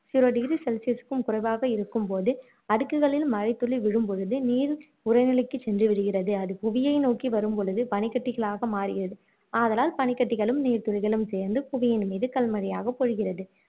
சில degree celsius க்கும் குறைவாக இருக்கும் போது அடுக்குகளில் மழை துளி விழும்பொழுது நீர் உறைநிலைக்கு சென்று விடுகிறது அது புவியை நோக்கி வரும் பொழுது பனிக்கட்டிகளாக மாறுகிறது ஆதலால் பனிக்கட்டிகளும் நீர்துளிகளும் சேர்ந்து புவியின் மீது கல் மழையாக பொழிகிறது